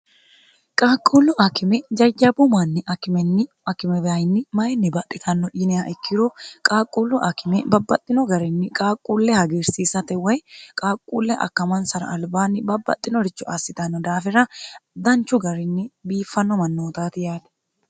qaaqquullu akime jajjabu manni akimenni akimebyinni mayinni baxitanno yinea ikkiro qaaqquullu akime babbaxxino garinni qaaqquulle hagiirsiissate way qaaqquulle akkamansara albaanni babbaxxinorichu assitanno daafira danchu garinni biiffanno mannootaati yaate